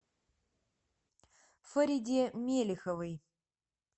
фариде мелеховой